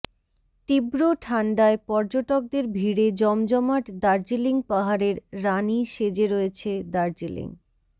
তীব্র ঠান্ডায় পর্যটকদের ভিড়ে জমজমাট দার্জিলিং পাহাড়ের রানি সেজে রয়েছে দার্জিলিং